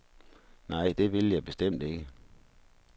Nej, det ville jeg bestemt ikke.